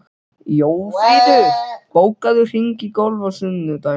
Jófríður, bókaðu hring í golf á sunnudaginn.